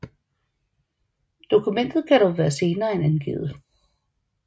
Dokumentet kan dog være senere end angivet